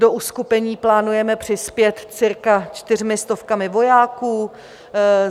Do uskupení plánujeme přispět cirka čtyřmi stovkami vojáků.